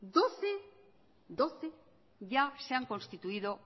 doce ya se han constituido